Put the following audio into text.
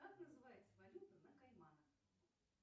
как называется валюта на кайманах